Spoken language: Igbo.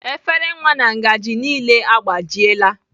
Efere nwa na ngaji niile agbajiela.